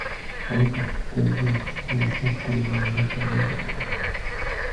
алиса подтверди доставку еды на завтра на восемь утра